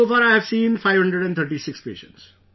So far I have seen 536 patients